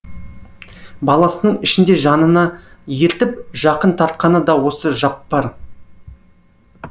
баласының ішінде жанына ертіп жақын тартқаны да осы жаппар